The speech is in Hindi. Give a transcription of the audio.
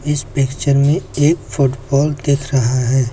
इस पिक्चर में एक फुटबॉल दिख रहा है।